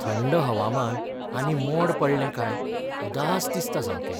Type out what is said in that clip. थंड हवामान आनी मोड पडलें काय उदास दिसता सामकें.